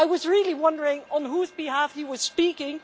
I was really wondering on whose behalf he was speaking.